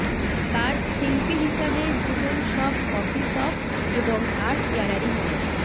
কাজ শিল্পী হিসাবে জীবন সব কফি শপ এবং আর্ট গ্যালারী নয়